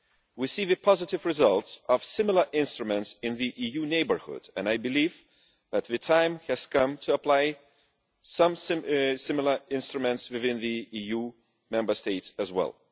We are seeing the positive results of similar instruments in the EU neighbourhoods, and I believe that the time has come to apply some similar instruments within the EU Member States as well.